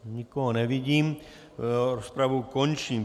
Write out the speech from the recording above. Nikoho nevidím, rozpravu končím.